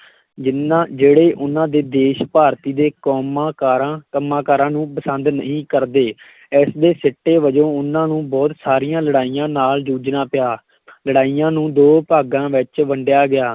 ਜਿਹਨਾਂ ਜਿਹੜੇ ਉਹਨਾਂ ਦੇ ਦੇਸ਼ ਭਾਰਤੀ ਦੇ ਕੋਮਾਂ ਕਾਰਾਂ, ਕੰਮਾਂ-ਕਾਰਾਂ ਨੂੰ ਪਸੰਦ ਨਹੀਂ ਕਰਦੇ ਇਸ ਦੇ ਸਿੱਟੇ ਵਜੋਂ ਉਹਨਾਂ ਨੂੰ ਬਹੁਤ ਸਾਰੀਆਂ ਲੜਾਈਆਂ ਨਾਲ ਜੂਝਣਾ ਪਿਆ ਲੜਾਈਆਂ ਨੂੰ ਦੋ ਭਾਗਾਂ ਵਿੱਚ ਵੰਡਿਆ ਗਿਆ,